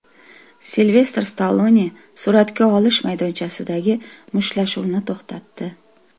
Silvestr Stallone suratga olish maydonchasidagi mushtlashuvni to‘xtatdi.